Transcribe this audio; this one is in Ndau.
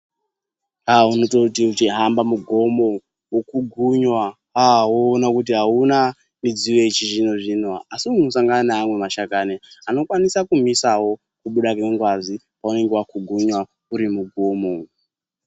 aah! unototi weihamba mugomo wopunhunwa ,aah woona kuti auna midziyo yechizvinozvino asi unosangana neamwe mashakani anokwanisa kumisawo kubuda kwengazi paunenge wapunhunwa urimugomo.